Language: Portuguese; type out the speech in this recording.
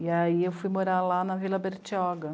E aí eu fui morar lá na Vila Bertioga.